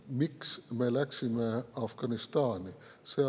Miks me läksime Afganistani?